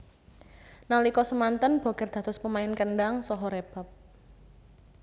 Nalika semanten Bokir dados pemain kendhang saha rebab